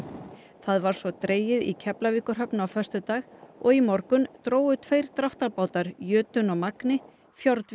það var svo dregið í Keflavíkurhöfn á föstudag og í morgun drógu tveir dráttarbátar jötunn og magni